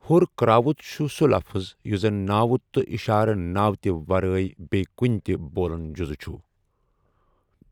ہُر کرٛاوُت چھُ سُہ لفٕظ یُس زَن ناوُت تہٕ اِشارٕ ناوتِ ورأی بیٚیہِ کُنہِ تِہ بولن جُزٕچھُ ۔